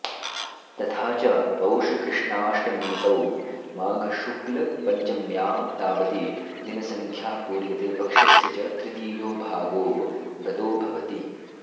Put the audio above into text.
तथाच पौषकृष्णाष्टमीतो माघशुक्लपञ्चम्यां तावती दिनसंख्या पूर्यते पक्षस्य च तृतीयो भागो गतो भवति